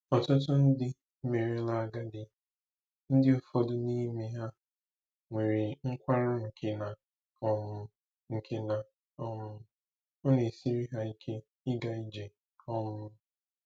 Ọtụtụ ndị merela agadi, ndị ụfọdụ n’ime ha nwere nkwarụ nke na um nke na um ọ na-esiri ha ike ịga ije. um